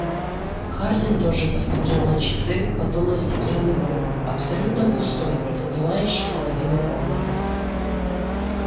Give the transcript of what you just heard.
хардин тоже посмотрел на часы потом на стеклянный куб абсолютно пустой и занимающий половину комнаты